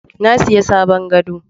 Na sayi sabon gado